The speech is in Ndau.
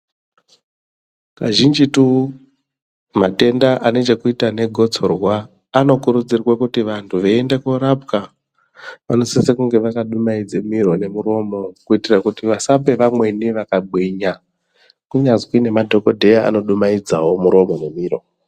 Kazhinjitu matenda ane chekuita negosorwa anokurudzirwe kuti vantu veiyenda kundorapwa ,vanosise kunge vakadumaidze miro nemuromo kuitira kuti vasape vamweni vakagwinya, kunyazwi nemadhokodheya anodumaidzawo miromo nemiro.